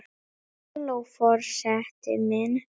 Halló forseti minn!